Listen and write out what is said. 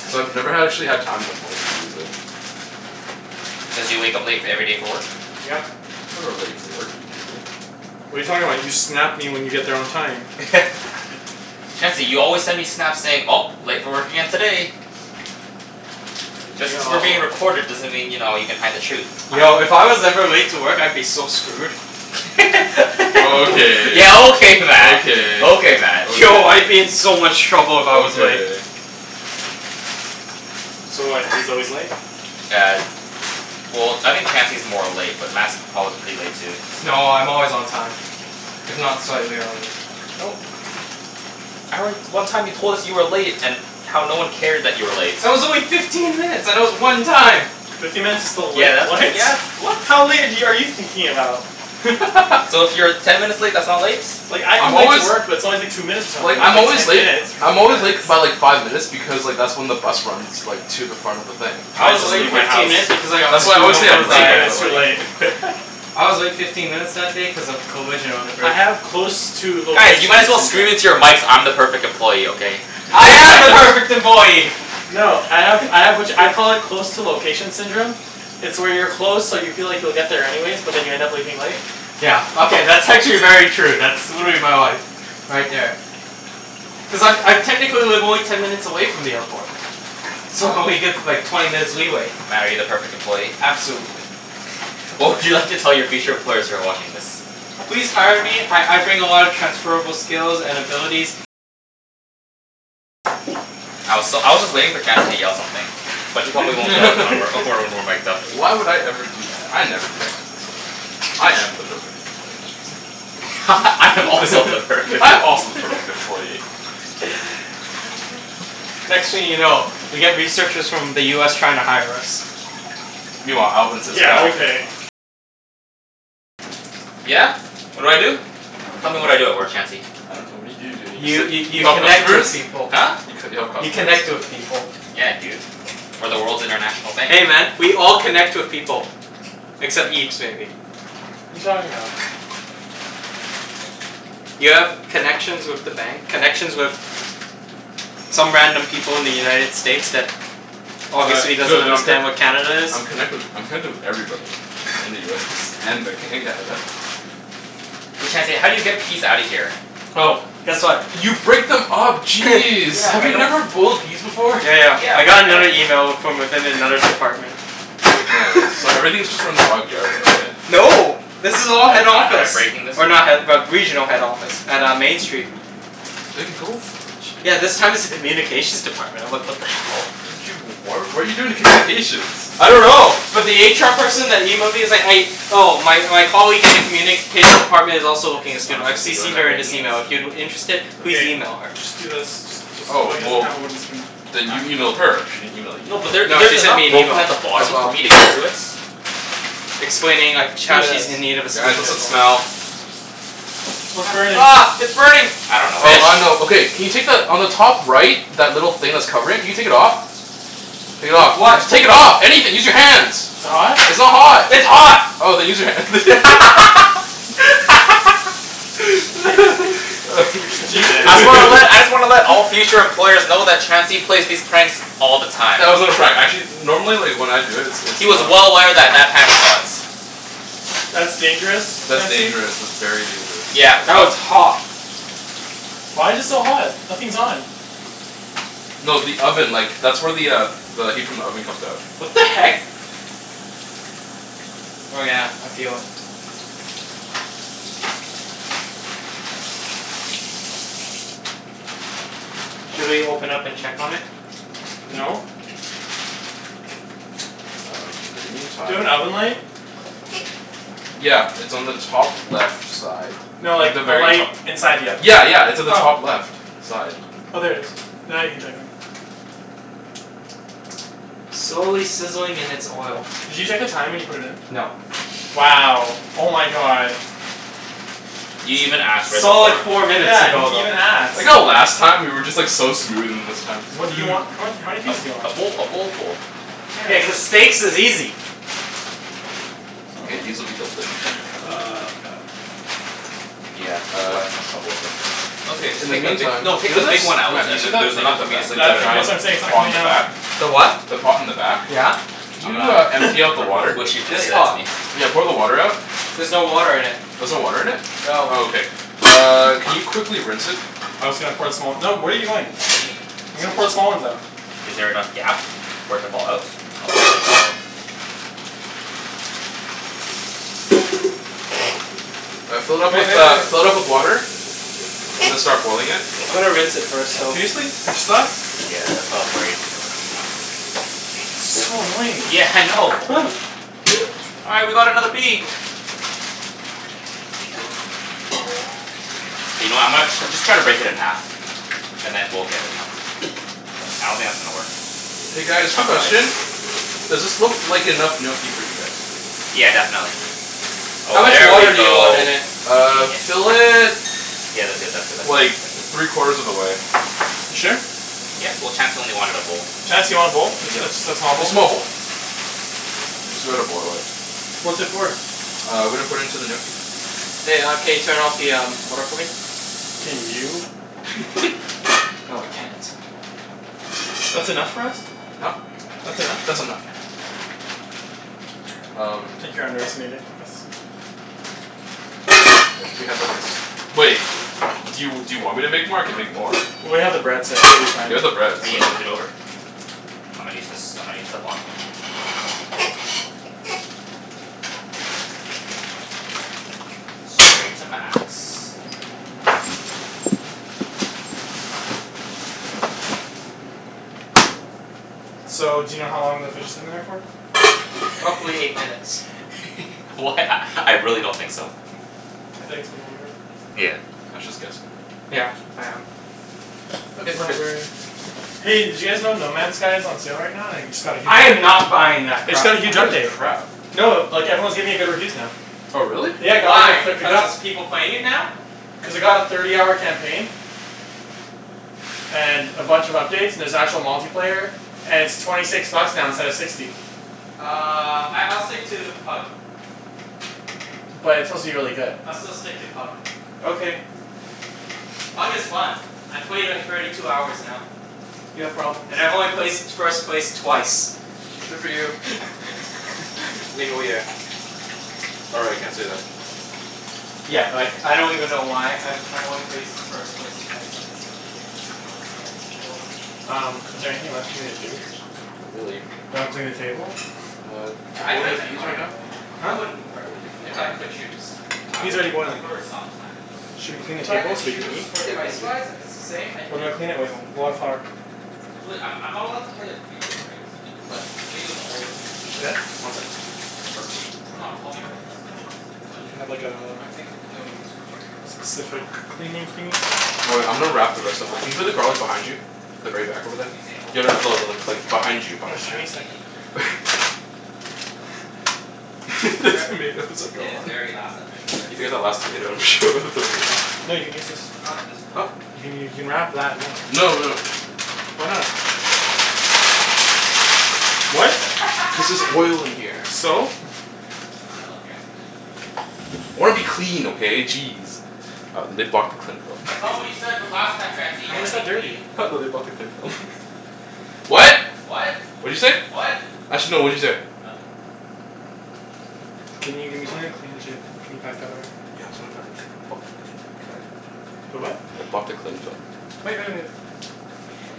Cuz I've never ha- actually had time in the morning to use it. Cuz you wake up late f- every day for work? Yep. I'm never late for work. Are you kidding me? What are you talking about? You Snap me when you get there on time. Chancey, you always send me Snaps saying, "Oh, late for work again today." Are Just you cuz we're Yo. being recorded doesn't mean, you know, you can hide the truth. Yo, if I was ever late to work I'd be so screwed. Okay. Yeah, okay Mat! Okay, Okay Mat. Yo, I'd be okay. in so much trouble if I was late. Okay. So what, he's always late? Yeah. Well, I think Chancey's more late, but Mat's prob- pretty late too. No, I'm always on time. If not slightly early. No. I re- one time you told us you were late and how no one cared that you were late. That was only fifteen minutes, and it was one time. Fifteen minutes is still late, Yeah, that's, right? yeah, that's, what? How late have y- are you thinking about? So, if you're ten minutes late, that's not late? Like, I come I'm late to always work but it's always like two minutes or Like, something. Not I'm like always ten late minutes. I'm Fifteen always late k- minutes. by like five minutes because like, that's when the bus runs like to the front of the thing. I I was To the just late leave my my fifteen house minutes workplace. because I got That's why I screwed always say I over I'm two just leave late, by my but minutes too like late. I was late fifteen minutes that day cuz of a collision on the I bridge. have close to Guys, you location might as well scream into syndrome. your mics, "I'm the perfect employee!" Okay? I am Nice. the perfect employee! No, I have I have which, I call it close to location syndrome. It's where you're close, so you feel like you'll get there anyways, but then you end up leaving late. Yeah, okay, that's actually very true. That's, would be my life. Right there. Cuz I'm I technically live only ten minutes away from the airport. So, I only give like, twenty minutes leeway. Mat, are you the perfect employee? Absolutely. What would you like to tell your future employers who are watching this? Please hire me. I I bring a lot of transferable skills and abilities. I was s- I was just waiting for Chancey to yell something. But he probably won't yell it when we're when we're mic'd up. Why would I ever do that? I never do that kind of stuff. I am the perfect employee. I am also the perfect I'm also the perfect employee. Next thing you know, we get researchers from the US trying to hire us. Meanwhile, Alvin sits back Yeah? What do I do? Tell me what I do at work, Chancey? I dunno. What do you do? Don't you You just sit y- You you help connect customers? with people. Huh? You c- you help You customers? connect with people. Yeah, dude. We're the world's international bank. Hey man, we all connect with people. Except Okay. Ibs, maybe. You talking about? You have connections with the bank, connections with some random people in the United States that obviously Tri- doesn't true, d- I'm c- understand what Canada is. I'm connected wi- I'm connected with everybody in the US and Vanco- in Canada. Hey Chancey, how do you get peas outta here? Oh, guess what? You break them up. Jeez! Yeah, Have but I you don't never boiled peas before? Yeah, yeah. Yeah, I but got I don't another email w- from within another department. Nice. So everything's just from the YVR though, right? No. This is But all head am I am I office. breaking this? Or not head but regional head office. At uh, Main Street. Then go for it. Yeah, this Jeez. time it's a communications department. I'm like, what the hell? How did you, w- why what are you doing with communications? I don't know. But the HR person that emailed me is like, a- Oh, my my colleague in the communications department is Is also looking a this what I'm student. I've supposed to be doing CCed by her in this breaking it? email. If you're interested, please Okay. email her. Just do this. Just just oh, Oh, he doesn't well have a wooden spoon. then Huh? you emailed her? She didn't email you. No, but there No, she there's sent enough me an broken email. at the bottom As for well. me to get to it. Explaining like, sh- Do how she's this. in need of a Guys, student what's as that well. smell? What's burning? Ah, ah, it's burning! I The dunno what Oh, I fish? know. it is. Okay can you take the, on the top right that little thing that's covering? Can you take it off? Take it With off. what? Just take it off! Anything! Use your hands! Is Is it it hot? hot? It's not hot! It's hot! Oh, then use your hand. You're such a You dick. I just wanna let I just wanna let all future employers know that Chancey plays these pranks all the time. That was not a prank. Actually normally like, when I do it it's He was not well aware that that pan was hot. That's dangerous, That's Chancey. dangerous. That's very dangerous. Yeah, That was but hot. Why's it so hot? Nothing's on. No, the oven. Like, that's where the uh the heat from the oven comes out. What the heck? Oh yeah, I feel it. Should we open up and check on it? Hmm? No. Uh, in the Do you have an meantime oven light? Yeah, it's on the top left side. No, Like like the a very light to- inside the oven. Yeah, yeah. It's on the top Oh. left side. Oh, there it is. Now you can check on it. Slowly sizzling in its oil. Did you check the time when you put it in? No. Wow! Oh my god. You even ask, right before. Solid four minutes Yeah, he ago, didn't though. even I like ask. how last time we were just like so smooth, and this time What do you want? What, how many A pieces do you a want? bowl a bowlful. Yeah, cuz steaks is easy. K, these will be delicious when they come out. Oh my god. Yeah, this is Uh why I had so much trouble with this. No, it's okay. Just In the take the bi- meantime no, take you know the the big s- one out, Mat, do you and see then that there's thing enough at the for me to ba- Tha- te- scoop like out the of that's the giant what bottom. I'm saying. It's not pot on coming the out. back? The what? The pot in the back? Yeah. Can I'm you uh gonna empty out I'm the gonna really water? wish you didn't This say that to pot? me. Yeah, pour the water out. There's no water in it. There's no water in it? No. Oh, okay. Uh, can you quickly rinse it? I was gonna pour some out. No, what are you doing? What do you mean? I was gonna put Excuse. the small ones out. Is there enough gap for it to fall out? Oh, there we go. Uh, fill it Wait, up with wait, uh, wait. fill it up with water. And then start boiling it. I'm gonna rinse it first, though. Seriously? They're stuck? Yeah, that's why I was worried So annoying. Yeah, I know. All right, we got another pea! You know, I'm gonna just try to break it in half. And then we'll get it out. I don't think that's gonna work. K Big guys, quick chunk of ice. question. Does this look like enough gnocchi for you guys? Yeah, definitely. How Oh, much there we water do you want go. in it? You Uh, genius. fill it Yeah, that's good, that's good, that's good, like, that's good. three quarters of the way. You sure? Yeah. Well, Chancey only wanted a bowl. Chancey wanted a bowl? Ju- ju- Yeah, just a small a bowl? small bowl. I'm just gonna boil it. What's it for? Uh, we're gonna put in to the gnocchi. Hey, uh, can you turn off the um water for me? Can you? No, I can't. That's enough for us? Huh? That's enough? That's enough. I Um think you're underestimating us. I wish we had like, a s- Wait. Do you do you want me to make more? I can make more. Well, we have the bread so I think we'll be fine. You have the bread, Oh, so you moved it over? I'm gonna use this, I'm gonna use the bottom one. Straight to max. So, do you know how long the fish has been in there for? Roughly eight minutes. Wh- a I really don't think so. I think it's been longer. Yeah. Mat's just guessing. Yeah, I am. Okay, It's we're not good. very Hey, did you guys know No Man Skies is on sale right now, and i- it just got a huge I am update? not buying that It's crap. got a I huge heard it's update. crap. No, like everyone's giving it good reviews now. Oh, really? W- Yeah, why? Because there's people playing it now? Cuz it got a thirty hour campaign and a bunch of updates, and there's actual multiplayer. And it's twenty six bucks now instead of sixty. Uh, I I'll stick to Pug. But it's supposed to be really good. I'll still stick to Pug. Okay. Pug is fun. I played like, thirty two hours now. You have problems. And I've only placed first place twice. Good for you. Or, I can't say that. Yeah, like, I don't even know why. I've I've only placed first place twice and it's like, ridiculously hard to get any kills. Um, is there anything left for me to do? Not really. Can I clean the table? Uh, Yeah, you I'd boiling rent the a peas car right in now? LA, man. I Huh? wouldn't Uber. Boiling the If peas if right I could now? choose. I Pea's would already boiling. Uber sometimes. Okay, Should we clean the If I table could so we can choose, eat? for Yeah, finish it. price-wise, if it's the same? I'd What do I do clean it your with? own car. Wildflower. There's really, I'm I'm not allowed to play a video, right? No. But the video's all over YouTube Yeah? already. One sec, please. It's not copyright, is it? If it's on Do you YouTube? have like, a I think w- no YouTube, period. specific Oh, damn it. cleaning I wanted thingie? to watch Oh wait, the, I I'm gonna wanted to wrap the rest of thi- can rewatch you put the the race garlic today. behind you? The very back over there. Usain Bolt Yeah, no lost. no no, like, behind you In behind Just give you. me fact a he didn't second. even finish the race. He cramped up. The Re- tomatoes are In his gone. very last official race. You last tomato and throw it in there? Here, you can use this. I like this Huh? pole. You can you can wrap that in Public this No, transit. no Why not? Oh, public trust not public transit. Gas station sushi. What? Cuz there's oil in here. So? I love gas station sushi. I wanna be clean, okay? Jeez. Uh, they blocked the cling film? That's not what you said b- last time, Chancey. You How wanna is be that clean. dirty? Ha, no, they blocked the cling film. Messy person. What? What? What'd you say? Actually no, what'd you say? Nothing. Can you give me something to clean the table. Can you pack that away? The what? They blocked the cling film. Wait, wait, wait. What'd you get?